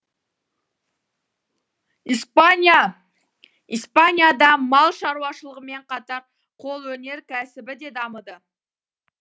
испания испанияда мал шаруашылығымен қатар қолөнер кәсібі де дамыды